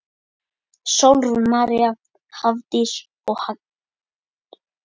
Sólrún María, Hafdís og Dagný.